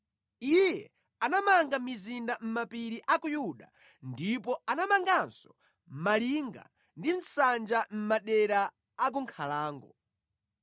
Iye anamanga mizinda mʼmapiri a ku Yuda ndipo anamanganso malinga ndi nsanja mʼmadera a ku nkhalango.